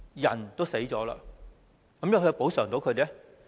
人都死了，有甚麼可以補償？